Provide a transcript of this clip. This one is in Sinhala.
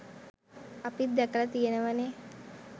අපිත් දැකල තියෙනවනේ.